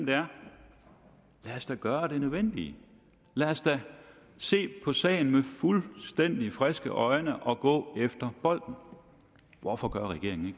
da gøre det nødvendige lad os da se på sagen med fuldstændig friske øjne og gå efter bolden hvorfor gør regeringen